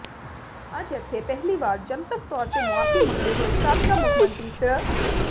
ਅੱਜ ਇੱਥੇ ਪਹਿਲੀ ਵਾਰ ਜਨਤਕ ਤੌਰ ਤੇ ਮੁਆਫੀ ਮੰਗਦੇ ਹੋਏ ਸਾਬਕਾ ਮੁੱਖ ਮੰਤਰੀ ਸ੍ਰ